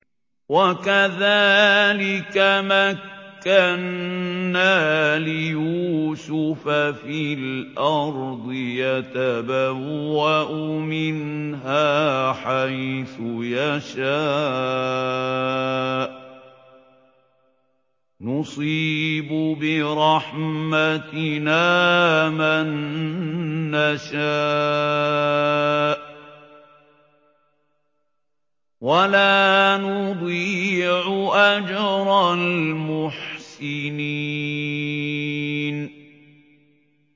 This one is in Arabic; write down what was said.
وَكَذَٰلِكَ مَكَّنَّا لِيُوسُفَ فِي الْأَرْضِ يَتَبَوَّأُ مِنْهَا حَيْثُ يَشَاءُ ۚ نُصِيبُ بِرَحْمَتِنَا مَن نَّشَاءُ ۖ وَلَا نُضِيعُ أَجْرَ الْمُحْسِنِينَ